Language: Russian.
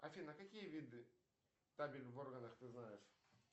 афина а какие виды табель в органах ты знаешь